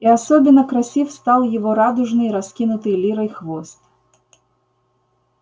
и особенно красив стал его радужный раскинутый лирой хвост